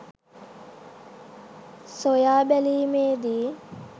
සොයා බැලීමේදී